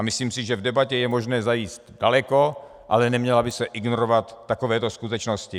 A myslím si, že v debatě je možné zajít daleko, ale neměly by se ignorovat takovéto skutečnosti.